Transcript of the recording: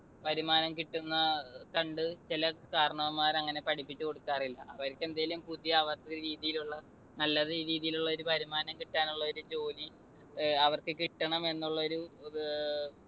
വരുമാനം കിട്ടുന്ന കണ്ട് ചില കാരണവർമാർ അങ്ങനെ പഠിപ്പിച്ചു കൊടുക്കാറില്ല. അവർക്കെന്തെങ്കിലും പുതിയ അവരുടെ രീതിയിലുള്ള, നല്ല രീതിയിലുള്ള ഒരു വരുമാനം കിട്ടാനുള്ള ഒരു ജോലി ഏർ അവർക്ക് കിട്ടണമെന്നുള്ളൊരു അഹ്